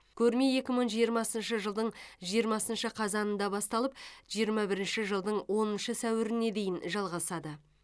көрме екі мың жиырмасыншы жылдың жиырмасыншы қазанында басталып жиырма бірінші жылдың оныншы сәуіріне дейін жалғасады